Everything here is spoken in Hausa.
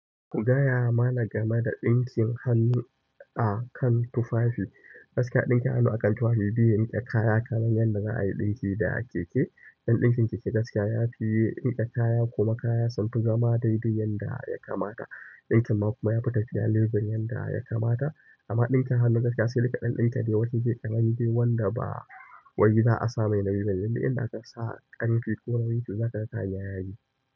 Gaya ma na game da ɗinkin hannu a kan tufafi. Gaskiya ɗinkin hannu a kan tufafi biyu, da kaya kamar yadda za a yi ɗinki da keke. Don ɗinkin keke gaskiya ya fiye rike kaya kuma kaya sunfi zama daidai yadda ya kamata. Ɗinkin ma kuma ya fi tafiya lebur yadda ya kamata, amma ɗinkin hannu gaskiya sai dai ka ɗan ɗinka dai washe kai kaman dai wanda ba wani dai za'a sa mai nauyi bane, dun duk idan aka sa ƙarfi ko wani za ka ga kayan ya yi.